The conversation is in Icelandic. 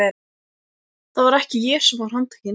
Það var ekki ég sem var handtekinn.